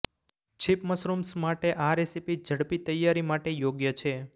છીપ mushrooms માટે આ recipe ઝડપી તૈયારી માટે યોગ્ય છે